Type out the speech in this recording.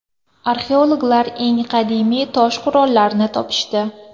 Arxeologlar eng qadimiy tosh qurollarni topishdi.